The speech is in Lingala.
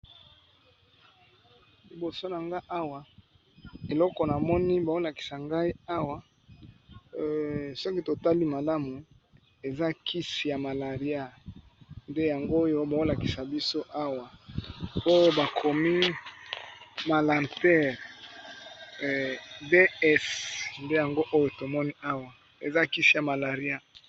Libosa nanga Awa bozolakisa biso Awa eza Kisi ya malaria Eza na carton nangi